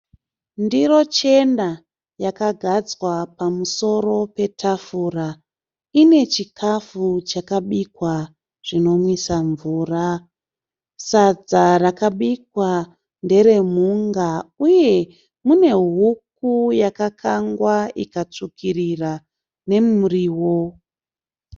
Ndiro chena yakagadzwa pamusoro petafura. Ine chikafu chakabikwa zvinomwisa mvura. Sadza rakabikwa nderemhunga uye mune huku yakakangwa ikatsvukirira nemuriwo.